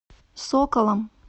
соколом